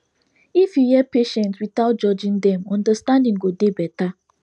if you hear patients without judging dem understanding go dey better